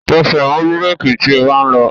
Tẹsẹ̀ mọ́ bírèki tí o bá ń lọ!